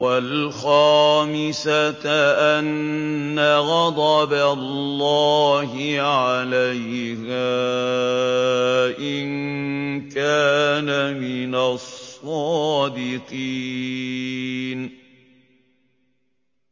وَالْخَامِسَةَ أَنَّ غَضَبَ اللَّهِ عَلَيْهَا إِن كَانَ مِنَ الصَّادِقِينَ